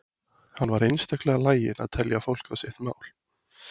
Hann var einstaklega laginn að telja fólk á sitt mál.